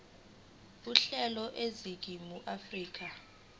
uhlelo eningizimu afrika